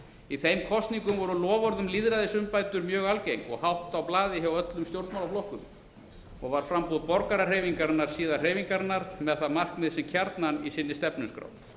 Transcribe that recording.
í þeim kosningum voru loforð um lýðræðisumbætur mjög algeng og hátt á blaði hjá öllum stjórnmálaflokkum og var framboð borgarahreyfingarinnar síðar hreyfingarinnar sem hefur það markmið sem kjarnann í sinni stefnuskrá